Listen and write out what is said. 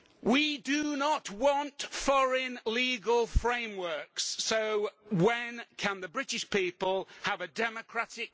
We do not want foreign legal frameworks so when can the British people have a democratic vote please?